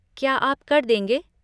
क्या आप कर देंगे?